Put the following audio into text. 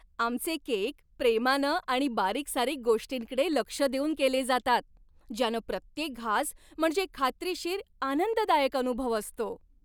आमचे केक प्रेमानं आणि बारीकसारीक गोष्टींकडे लक्ष देऊन केले जातात, ज्यानं प्रत्येक घास म्हणजे खात्रीशीर आनंददायक अनुभव असतो.